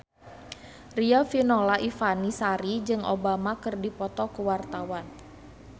Riafinola Ifani Sari jeung Obama keur dipoto ku wartawan